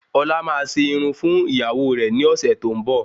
Ọlá máa se Irun fún ìgbéyàwó rẹ ni ọsẹ tó ń bo